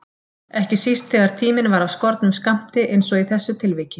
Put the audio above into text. Ekki síst þegar tíminn var af skornum skammti einsog í þessu tilviki.